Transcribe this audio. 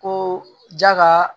Ko ja ka